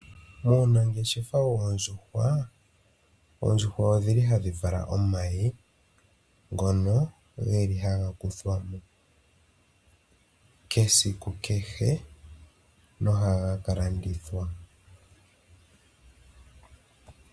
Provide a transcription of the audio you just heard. Muunangeshefa yoondjuhwa, oondjuhwa odhili hadhi vala omayi, ngono ge li haga kuthwamo kesiku kehe, nohaga kalandithwa.